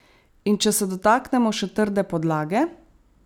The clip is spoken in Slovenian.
In če se dotaknemo še trde podlage.